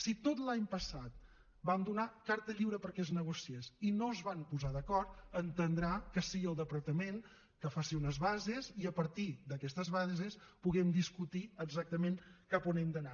si tot l’any passat vam donar carta lliure perquè es negociés i no es van posar d’acord entendrà que sigui el departament que faci unes bases i a partir d’aquestes bases puguem discutir exactament cap on hem d’anar